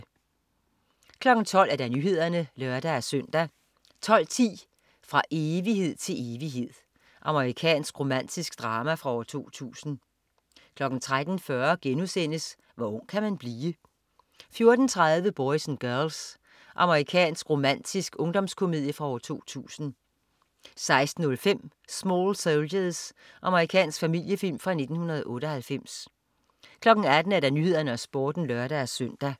12.00 Nyhederne (lør-søn) 12.10 Fra evighed til evighed. Amerikansk romantisk drama fra 2000 13.40 Hvor ung kan man blive?* 14.30 Boys and Girls. Amerikansk romantisk ungdomskomedie fra 2000 16.05 Small Soldiers. Amerikansk familiefilm fra 1998 18.00 Nyhederne og Sporten (lør-søn)